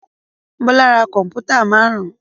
Bọ́lá ra kọ̀m̀pútà márùn-ún.